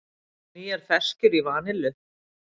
Nýjar ferskjur í vanillu